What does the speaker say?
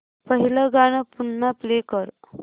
पहिलं गाणं पुन्हा प्ले कर